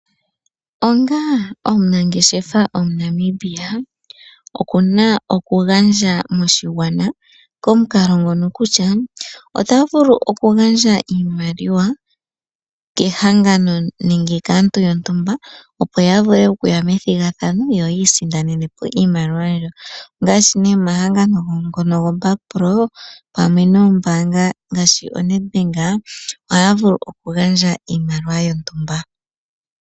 Onga omunangeshefa omuNamibia okuna okugandja moshigwana komukalo ngono kutya, otavulu okugandja iimaliwa kehangano nenge kaantu yontumba opo yavule okuya methigathano yo isindanene po iimaliwa mbyo. Ongaashi nee omahangano ngono goBakpro pamwe noombaanga ngaashi oNedbank, ohaya vulu okugandja iimaliwa yontumba.